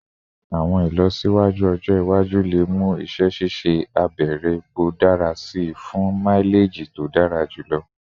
Awọn ilọsiwaju ọjọ iwaju le mu iṣẹ ṣiṣe abẹrẹ epo dara si fun maileji to dara julọ